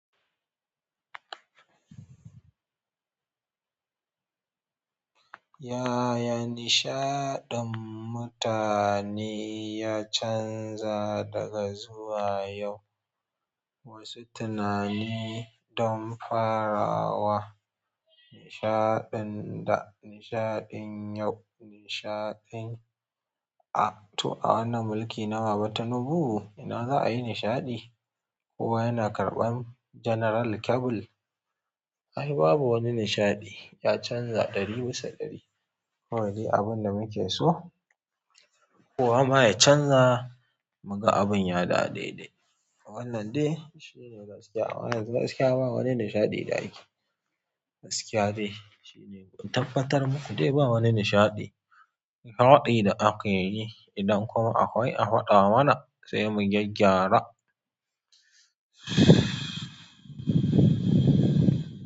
Yaya nishaɗin mutane ya canza daga zuwa yau? Wasu tunani don farawa nishaɗin da nishaɗin yau, nishaɗin a to a wannan mulki na Baba Tinubu, ina za a yi nishaɗi? Ko yana karɓan General Kebil? Ai babu wani nishaɗi, ya canza ɗari bisa ɗari. Kawai dai abin da muke so? Kowa ma ya canza mu ga abin ya dawo dede? Wannan dai shi ne gaskiya. Amma yanzu gaskiya ba wani nishaɗi da ake. Gaskiya dai shi ne. Don tabbatar mu, dai ba wani nishaɗi. Karwaɗi da ake yi, idan kuma akwai a faɗa mana sai mu gyaggyara.